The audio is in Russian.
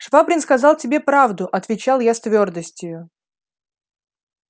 швабрин сказал тебе правду отвечал я с твёрдостию